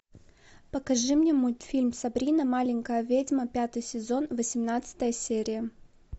покажи мне мультфильм сабрина маленькая ведьма пятый сезон восемнадцатая серия